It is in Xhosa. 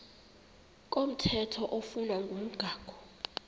komthetho oflunwa ngumgago